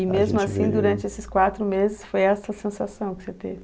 E mesmo assim, durante esses quatro meses, foi essa a sensação que você teve?